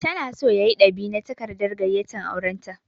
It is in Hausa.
Ta na so ya yi dab'i na takardar gayyatan auren ta